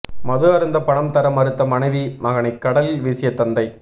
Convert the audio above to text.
மது அருந்த பணம் தர மறுத்த மனைவி மகனை கடலில் வீசிய தந்தை